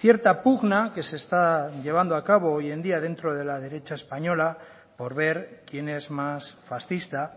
cierta pugna que se está llevando a cabo hoy en día dentro de la derecha española por ver quién es más fascista